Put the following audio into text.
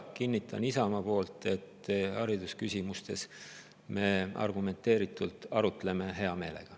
Kinnitan Isamaa nimel, et haridusküsimuste üle arutleme argumenteeritult hea meelega.